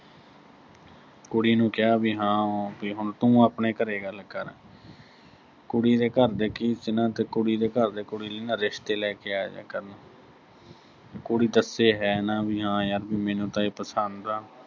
ਕੁੜੀ ਨੂੰ ਕਿਹਾ ਵੀ ਹਾਂ, ਵੀ ਹੁਣ ਤੂੰ ਆਪਣੇ ਘਰੇ ਗੱਲ ਕਰ, ਕੁੜੀ ਦੇ ਘਰ ਦੇ ਕੀ ਸੀ ਨਾ, ਕੁੜੀ ਦੇ ਘਰ ਦੇ ਨਾ ਕੁੜੀ ਲਈ ਨਾ ਅਹ ਰਿਸ਼ਤੇ ਲੈ ਕੇ ਆਜਿਆ ਕਰਨ ਕੁੜੀ ਦੱਸੇ ਹੈ ਨਾ ਅਹ ਵੀ ਹਾਂ ਯਰ ਮੈਨੂੰ ਤਾਂ ਇਹ ਪਸੰਦ ਆ।